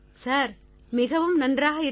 sir மிகவும் நன்றாக இருக்கிறது